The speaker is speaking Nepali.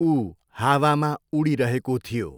ऊ हावामा उडिरहेको थियो।